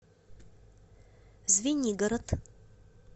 звенигород